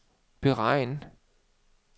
beregn